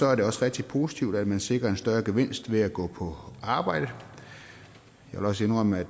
er det også rigtig positivt at man sikrer en større gevinst ved at gå på arbejde jeg vil også indrømme at